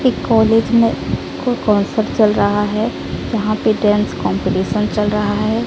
एक कॉलेज में कोई कंसर्ट चल रहा है जहां पे डांस कंपटीशन चल रहा है।